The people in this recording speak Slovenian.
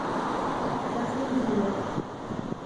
Razvedrilo.